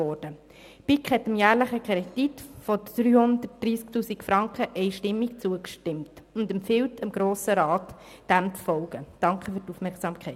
Die BiK hat dem jährlichen Kredit von 330 000 Franken einstimmig zugestimmt und empfiehlt dem Grossen Rat, es ihr gleichzutun.